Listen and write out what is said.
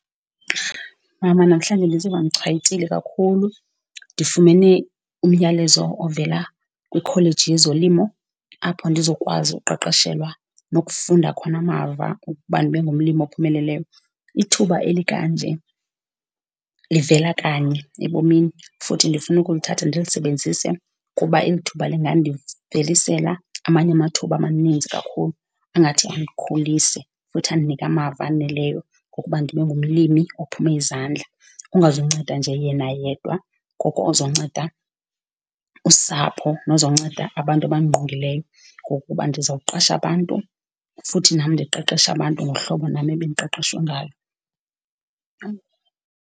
Mama, namhlanje ndiziva ndichwayitile kakhulu. Ndifumene umyalezo ovela kwikholeji yezolimo apho ndizokwazi ukuqeqeshelwa nokufunda khona amava ukuba ndibe ngumlimi ophumeleleyo, ithuba elikanje livela kanye ebomini. Futhi ndifuna ukulithatha ndilisebenzise kuba eli thuba lingandivelisela amanye amathuba amaninzi kakhulu angathi andikhulise futhi andinike amava awoneleyo wokuba ndibe ngumlimi ophume izandla. Kungazunceda nje yena yedwa, koko ozonceda usapho nozonceda abantu abandingqongileyo ngokuba ndizawuqasha abantu, futhi nam ndiqeqeshe abantu ngohlobo nam ebendiqeqeshwe ngalo.